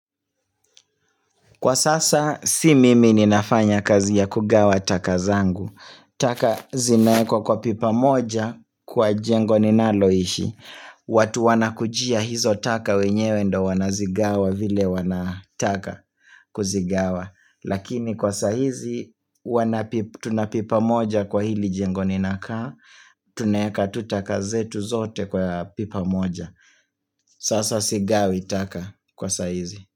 Kwa sasa, si mimi ninafanya kazi ya kugawa taka zangu. Taka zinaekwa kwa pipa moja kwa jengo ninaloishi. Watu wanakujia hizo taka wenyewe ndo wanazigawa vile wanataka kuzigawa. Lakini kwa saa hizi, tuna pipa moja kwa hili jengo ninakaa. Tunaeka tu taka zetu zote kwa pipa moja. Sasa sigawi taka kwa saa hizi.